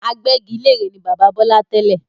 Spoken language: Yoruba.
Agbẹ́gilére ni bàbá Bọlá tẹ́lẹ̀